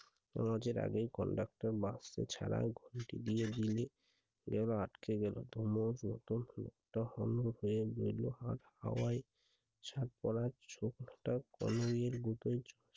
নামাজের আগেই conductor বাক্স ছাড়া ঘন্টি দিয়ে দিলে এবার আটকে গেল। আর হাওয়ায় ছাপ পড়া ছোবলাটা কন্নের মতন